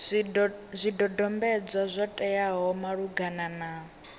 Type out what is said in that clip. zwidodombedzwa zwo teaho malugana na